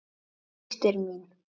Eina systir mín.